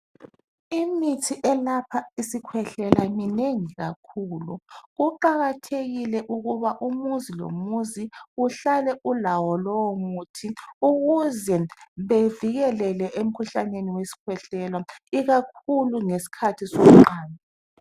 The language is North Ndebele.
Imithi elapha isikhwehlela minengi kakhulu. Kuqakathekile ukuba umuzi lomuzi uhlale ulawo lowo muthi ukuze bevikelele emikhuhlaneni wesikhwehlela ikakhulu ngesikhathi somqando.